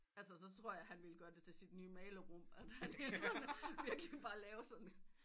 Altså så tror jeg han ville gøre det til sit nye maler rum at han sådan virkelig bare lave sådan